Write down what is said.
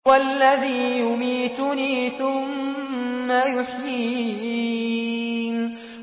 وَالَّذِي يُمِيتُنِي ثُمَّ يُحْيِينِ